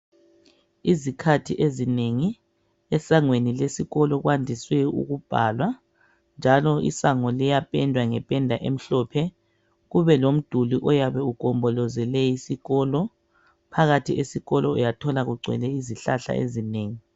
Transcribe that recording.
Izikhathi ezinengi esangweni lesikolo kwandiswe ukubhalwa njalo isango liyapendwa ngependa emhlophe kube komduli oyabe ugombolozele isikolo . Phakathi esikolo uyathola kugcwele izihlahla ezinengi.